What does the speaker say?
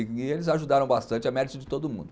E eles ajudaram bastante, é mérito de todo mundo.